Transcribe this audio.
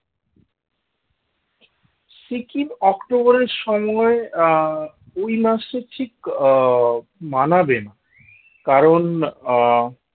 সিকিম অক্টোবরের সময়ে আহ ওই মাসে ঠিক আহ মানাবে না কারণ আহ